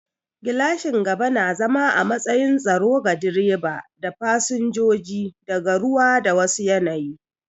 Gilashin gaba na zama a matsayin tsaro ga direba da fasinjoji daga ruwa da wa su yanayi